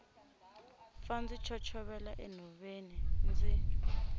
pfa ndzi chochovela enhoveni ndzi